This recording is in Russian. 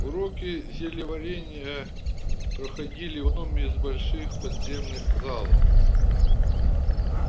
уроки зельеварения проходили в одном из больших подземных залов